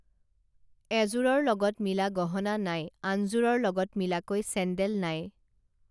এযোৰৰ লগত মিলা গহনা নাই আন যোৰৰ লগত মিলাকৈ চেন্দেল নাই